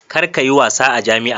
Kar ka yi wasa a jami'a.